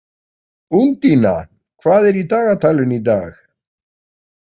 Úndína, hvað er í dagatalinu í dag?